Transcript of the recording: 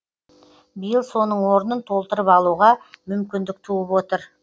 биыл соның орнын толтырып алуға мүмкіндік туып отыр